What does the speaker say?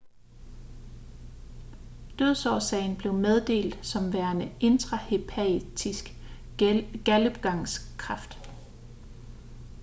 dødsårsagen blev meddelt som værende intrahepatisk galdegangskræft